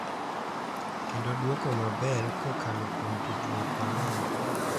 Kendo duoko maber kokalo kuom tudruok maler,